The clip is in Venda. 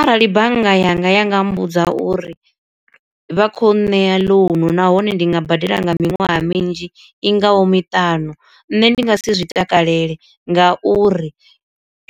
Arali bannga yanga ya nga mmbudza uri vha kho nṋea ḽounu nahone ndi nga badela nga miṅwaha minzhi i ngaho miṱanu, nṋe ndi nga si zwi takalele nga uri